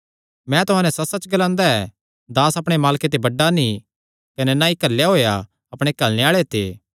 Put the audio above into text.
मैं तुहां नैं सच्चसच्च ग्लांदा ऐ दास अपणे मालके ते बड्डा नीं कने नीं घल्लेया होएया अपणे घल्लणे आल़े ते